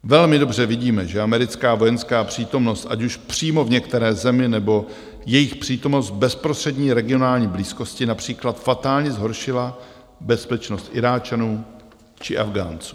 Velmi dobře vidíme, že americká vojenská přítomnost, ať už přímo v některé zemi, nebo jejich přítomnost v bezprostřední regionální blízkosti, například fatálně zhoršila bezpečnost Iráčanů či Afghánců.